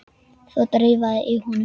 Það drafaði í honum.